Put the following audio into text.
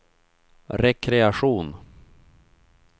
rekreation